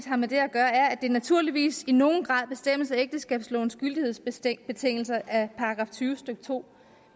har med det at gøre er at det naturligvis i nogen grad bestemmes af ægteskabslovens gyldighedsbetingelser i § tyve stykke to